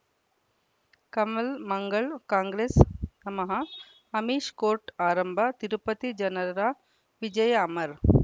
ಕಮಲ್ ಮಂಗಳ್ ಕಾಂಗ್ರೆಸ್ ನಮಃ ಅಮಿಷ್ ಕೋರ್ಟ್ ಆರಂಭ ತಿರುಪತಿ ಜನರ ವಿಜಯ ಅಮರ್